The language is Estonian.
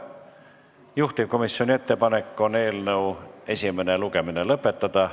Juhtivkomisjoni ettepanek on eelnõu esimene lugemine lõpetada.